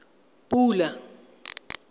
pula